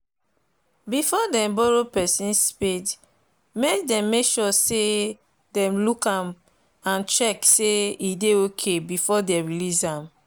before them borrow person spade them dey make sure say them look am and check say e dey ok before they release am.